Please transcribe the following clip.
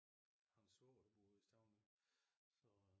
Har en svoger der bor ude i Stauning